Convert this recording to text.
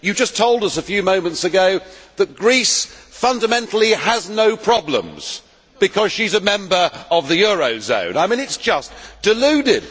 You just told us a few moments ago that Greece fundamentally has no problems because it is a member of the eurozone. I mean, that is just deluded.